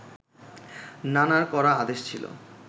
নানার কড়া আদেশ ছিল